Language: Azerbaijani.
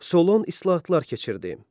Solon islahatlar keçirdi.